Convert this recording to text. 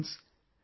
Friends,